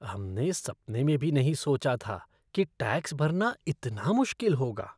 हमने सपने में भी नहीं सोचा था कि टैक्स भरना इतना मुश्किल होगा!